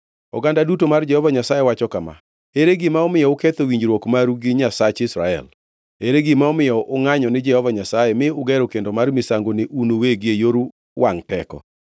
“Oganda duto mar Jehova Nyasaye wacho kama: Ere gima omiyo uketho winjruok maru gi Nyasach Israel? Ere gima omiyo ungʼanyo ni Jehova Nyasaye mi ugero kendo mar misango ni un uwegi e yor wangʼ teko?